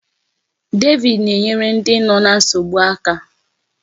David na-enyere ndị nọ ná nsogbu aka.